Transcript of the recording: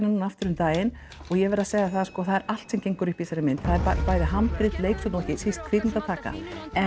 núna aftur um daginn og ég verð að segja það sko að það er allt sem gengur upp í þessari mynd það er bæði handrit leikstjórn og ekki síst kvikmyndatakan